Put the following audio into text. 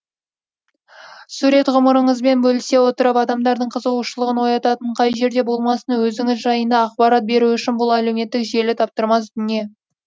сурет ғұмырыңызбен бөлісе отырып адамдардың қызығушылығын оятатын қай жерде болмасын өзіңіз жайында ақпарат беру үшін бұл әлеуметтік желі таптырмас дүние